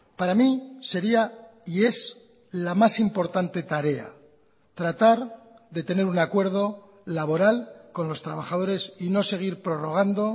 para mí sería y es la más importante tarea tratar de tener un acuerdo laboral con los trabajadores y no seguir prorrogando